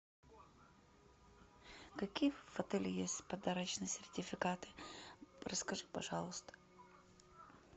какие в отеле есть подарочные сертификаты расскажи пожалуйста